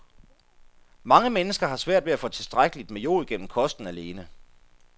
Mange mennesker har svært ved at få tilstrækkeligt med jod gennem kosten alene.